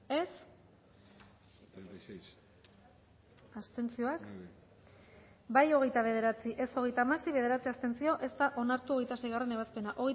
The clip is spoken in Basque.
dezakegu bozketaren emaitza onako izan da hirurogeita hamalau eman dugu bozka hogeita bederatzi boto aldekoa hogeita hamasei contra bederatzi abstentzio ez da onartu hogeita seigarrena ebazpena